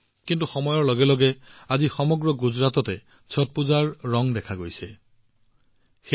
কিন্তু সময়ৰ লগে লগে প্ৰায় সমগ্ৰ গুজৰাট ছট পূজাৰ ৰঙত বিলীন হবলৈ আৰম্ভ কৰিছে